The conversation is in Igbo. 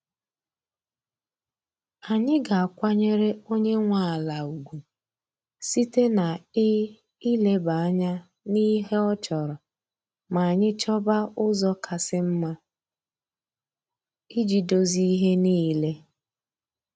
Anyị ga-akwanyere onye nwe ala ugwu site na ị ileba anya n'ihe ọ chọrọ ma anyị chọba ụzọ kasị mma iji dozie ihe niile.